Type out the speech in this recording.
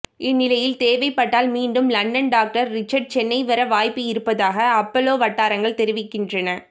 இந்நிலையில் தேவைப்பட்டால் மீண்டும் லண்டன் டாக்டர் ரிச்சர்டு சென்னை வர வாய்ப்பு இருப்பதாக அப்பல்லொ வட்டாரங்கள் தெரிவிக்கின்றன